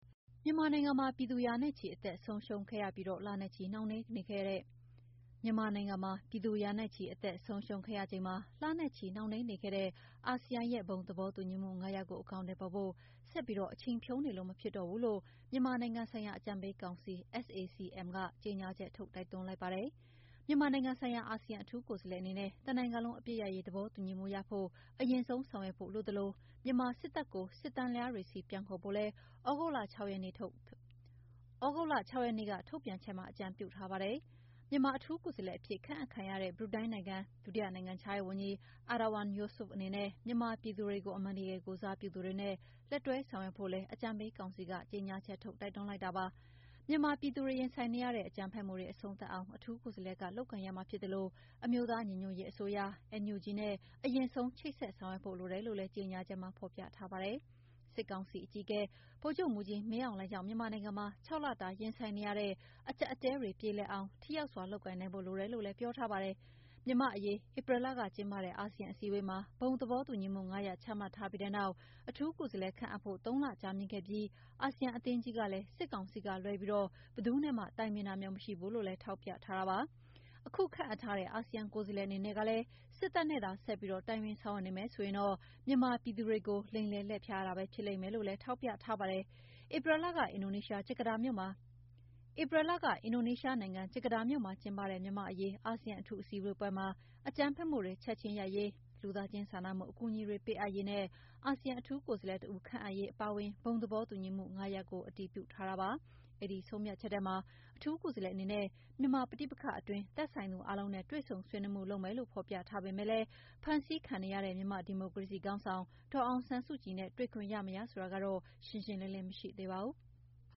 မြန်မာနိုင်ငံမှာပြည်သူရာနဲ့ချီ အသက်ဆုံးရှုံးခဲ့ရပြီး၊ လနဲ့ချီနှောင့်နှေးနေခဲ့တဲ့ အာဆီယံရဲ့ဘုံသဘောတူညီမှု(၅) ရပ်ကို အကောင်အထည်ဖော်ဖို့ ဆက်ပြီးအချိန်ဖြုန်းနေလို့မဖြစ်တော့ဘူးလို့ မြန်မာနိုင်ငံဆိုင်ရာ အကြံပေးကောင်စီ SAC-M ကကြေငြာချက်ထုတ် တိုက်တွန်းလိုက်ပါတယ်။ မြန်မာနိုင်ငံဆိုင်ရာ အာဆီယံအထူးကိုယ်စားလှယ်အနေနဲ့ တနိုင်ငံလုံးအပစ်ရပ်ရေးသဘောတူညီမှုရဖို့ အရင်ဆုံးဆောင်ရွက်ဖို့လိုသလို မြန်မာစစ်တပ်ကို စစ်တန်းလျားတွေဆီ ပြန်ခေါ်ဖို့လည်း သြဂုတ်လ (၆)နေ့ကထုတ်ပြန်ချက်မှာ အကြံပြုထားပါတယ်။ မြန်မာအထူးကိုယ်စားလှယ်အဖြစ် ခန့်အပ်ခံရတဲ့ ဘရူနိုင်းနိုင်ငံ၊ ဒုနိုင်ငံခြားရေးဝန်ကြီး Erywan Yousof အနေနဲ့ မြန်မာပြည်သူတွေကို အမှန်တကယ် ကိုယ်စားပြုတဲ့သူတွေနဲ့ လက်တွဲဆောင်ရွက်ဖို့လည်း အကြံပေးကောင်စီ SAC-M ကကြေငြာချက်ထုတ် တိုက်တွန်းလိုက်တာပါ။ မြန်မာပြည်သူတွေ ရင်ဆိုင်နေရတဲ့ အကြမ်းဖက်မှုတွေ အဆုံးသတ်အောင် အထူးကိုယ်စားလှယ်က လုပ်ကိုင်ရမှာ ဖြစ်သလို အမျိုးသားညီညွှတ်ရေးအစိုးရ (NUG)နဲ အရင်ဆုံး ချိတ်ဆက်ဆောင်ရွက်ဖို့လိုတယ်လို့လည်း ကြေငြာချက်မှာ ဖော်ပြထားပါတယ်။ စစ်ကောင်စီအကြီးအကဲ ဗိုလ်ချုပ်မှူးကြီးမင်းအောင်လှိုင်ကြောင့် မြန်မာနိုင်ငံမှာ ၆ လတာရင်ဆိုင်နေရတဲ့ အကြပ်အတည်းတွေပြေလည်အောင် ထိရောက်စွာလုပ်ကိုင်နိုင်ဖို့လိုတယ်လို့လည်း ပြောထားပါတယ်။ မြန်မာ့အရေး ဧပြီလကကျင်းပတဲ့ အာဆီယံအစည်းအဝေးမှာ ဘုံသဘောတူညီမှု (၅)ရပ်ချမှတ်ထားပြီးတဲ့နောက် အထူးကိုယ်စားလှယ်ခန့်အပ်ဖို့ ၃လကြာမြင့်ခဲ့ပြီး အာဆီယံအသင်းကြီးကလည်း စစ်ကောင်စီကလွှဲပြီး ဘယ်သူနဲ့မှ တိုင်ပင်တာမျိုးမရှိဘူးလို့လည်း ထောက်ပြထားပါတယ်။ ခုခန့်အပ်ထားတဲ့ အာဆီယံကိုယ်စားလှယ်အနေနဲ့ကလည်း စစ်တပ်နဲ့သာဆက်ပြီး တိုင်ပင်ဆောင်ရွက်နေမယ်ဆိုရင်တော့ မြန်မာပြည်သူတွေကို လိမ်လည်လှည့်ဖျားတာပဲ ဖြစ်လိမ့်မယ်လို့လည်း ထောက်ပြထားတာပါ။ ဧပြီလက အင်ဒိုနီးရှားနိုင်ငံ၊ ဂျကာတာမြို့မှာကျင်းပတဲ့ မြန်မာ့အရေး အာဆီယံအထူးဆွေးနွေးပွဲမှာ အကြမ်းဖက်မှုတွေချက်ချင်းရပ်ရေး၊ လူသားချင်းစာနာမှုအကူအညီတွေပေးအပ်ရေးနဲ့အာဆီယံအထူးကိုယ်စားလှယ်တဦး ခန့်ထားရေးအပါအဝင် ဘုံသဘောတူညီချက် ၅ ရပ်ကို အတည်ပြုထားတာဖြစ်ပါတယ်။ အဲဒီဆုံးဖြတ်ချက်ထဲမှာ အထူးကိုယ်စားလှယ်အနေနဲ့ မြန်မာပဋိပက္ခအတွင်း သက်ဆိုင်သူအားလုံးနဲ့ တွေ့ဆုံဆွေးနွေးမှု့လုပ်မယ်လို့ဖော်ပြထားတာမှာ ဖမ်းဆီးခံနေရတဲ့ မြန်မာ့ဒီမိုကရေစီခေါင်းဆောင် ဒေါ်အောင်ဆန်းစုကြည်နဲ့ တွေ့ခွင့်ရမရဆိုတာကတော့ ရှင်းရှင်းလင်းလင်းမရှိသေးပါဘူး။